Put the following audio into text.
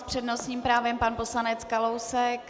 S přednostním právem pan poslanec Kalousek.